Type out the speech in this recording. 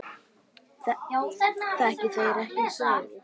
Þekki þeir ekki söguna.